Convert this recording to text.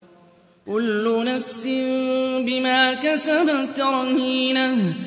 كُلُّ نَفْسٍ بِمَا كَسَبَتْ رَهِينَةٌ